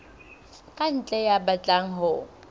ka ntle ya batlang ho